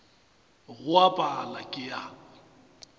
go a pala ke a